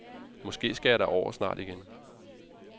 Måske skal jeg derover igen snart.